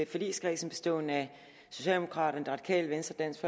forligskredsen bestående af socialdemokraterne det radikale venstre dansk